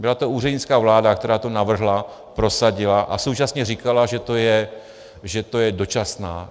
Byla to úřednická vláda, která to navrhla, prosadila a současně říkala, že to je dočasné.